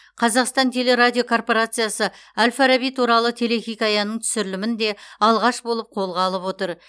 қазақстан телерадиокорпорациясы әл фараби туралы телехикаяның түсірілімін де алғаш болып қолға алып отыр